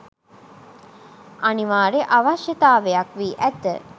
අනිවාර්ය අවශ්‍යතාවයක් වී ඇත.